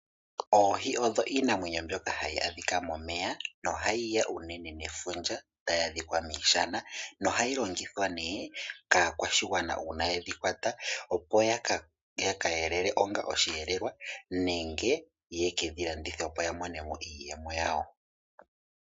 Oohi odho iinamwenyo mbyoka hayi adhika momeya nohayi ya unene nefundja nohadhi adhika miishana. Ohadhi longithwa kaakwashigwana taye dhi kwata, opo ya ka elele onga osheelelwa nenge ye ke dhi landithe, opo ya mone mo iiyemo yawo.